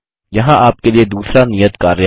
यहाँ आपके लिए दूसरा नियत कार्य है